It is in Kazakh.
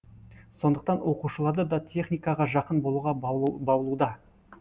сондықтан оқушыларды да техникаға жақын болуға баулуда